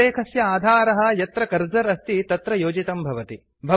उल्लेखस्य आधारः यत्र कर्सर अस्ति तत्र योजितं भवति